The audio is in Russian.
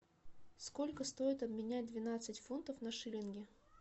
сколько стоит обменять двенадцать фунтов на шиллинги